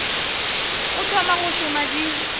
o thoma go šoma di